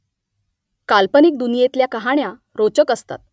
काल्पनिक दुनियेतल्या कहाण्या रोचक असतात